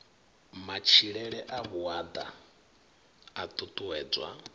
matshilele a vhuaḓa a ṱuṱuwedzwa